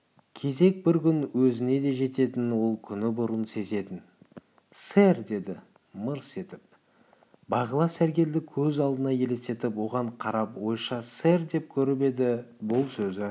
кезек бір күн өзіне де жететінін ол күні бұрын сезетін сэр -деді мырс етіп қызық бағила сәргелді көз алдына елестетіп оған қарап ойша сэр деп көріп еді бұл сөзі